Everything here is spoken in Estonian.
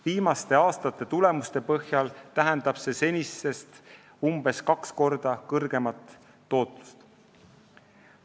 Viimaste aastate tulemuste põhjal tähendab see senisest umbes kaks korda kõrgemat tootlust.